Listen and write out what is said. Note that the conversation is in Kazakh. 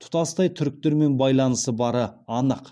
тұтастай түріктермен байланысы бары анық